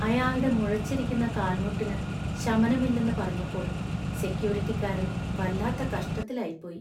അയാള്‍ടെ മുഴച്ചിരിക്കുന്ന കാൽമുട്ടിന് ശമനമില്ലെന്ന് പറഞ്ഞപ്പോൾ സെക്യൂരിറ്റിക്കാരൻ വല്ലാത്ത കഷ്ടത്തിലായിപ്പോയി.